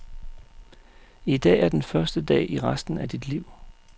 I dag er den første dag i resten af dit liv.